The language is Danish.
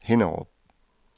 Hinnerup